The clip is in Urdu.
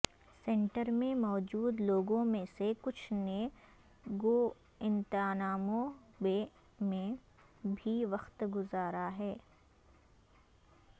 سینٹر میں موجود لوگوں میں سےکچھ نے گوانتانامو بے میں بھی وقت گزارا ہے